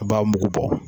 A b'a mugu bɔ